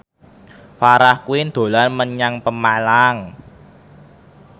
Farah Quinn dolan menyang Pemalang